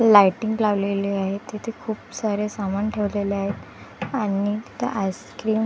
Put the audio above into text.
Lighting लावलेली आहे. तिथे खूप साऱ्या सामान ठेवलेले आहेत आणि तिथं आईस्क्रीम--